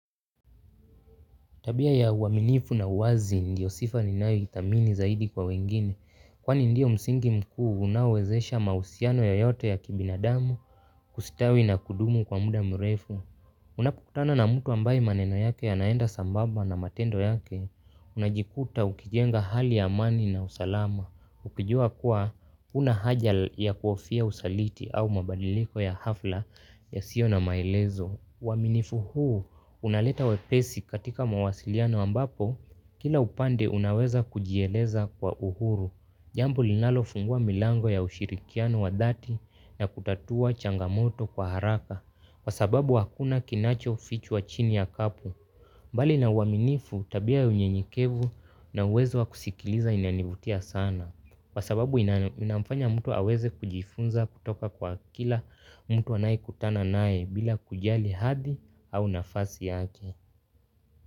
Tabia ya uaminifu na uwazi ndiyo sifa ninayoithamini zaidi kwa wengine. Kwani ndio msingi mkuu unaowezesha mahusiano yeyote ya kibinadamu kustawi na kudumu kwa muda mrefu. Unapokutana na mtu ambaye maneno yake yanaenda sambamba na matendo yake. Unajikuta ukijenga hali ya amani na usalama. Ukijua kuwa hunahaja ya kuofia usaliti au mabadiliko ya hafla yasio na maelezo. Uaminifu huu unaleta wepesi katika mawasiliano ambapo, kila upande unaweza kujieleza kwa uhuru. Jambo linalofungua milango ya ushirikiano wa dhati ya kutatua changamoto kwa haraka, kwa sababu hakuna kinacho fichwa chini ya kapu. Mbali na uaminifu tabia ya uyenyekevu na uwezo wakusikiliza inanivutia sana. Kwa sababu inamfanya mtu aweze kujifunza kutoka kwa kila mtu anayekutana naye bila kujali hadhi au nafasi yake.